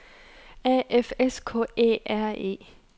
A F S K Æ R E